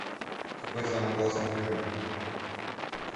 какой самый классный фильм